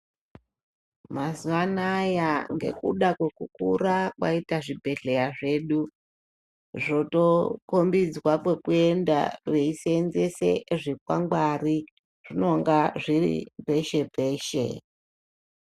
Mazuvano aya ngekuda kwekukura kwaita zvibhedhlera zvedu unotoudziwa kwekuenda veishandisa zvikwangwari zvinonga zviripeshe peshe.